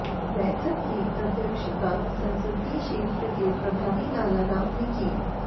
बैठक की अध्यक्षता संसदीय क्षेत्र के प्रभारी लाला राम ने की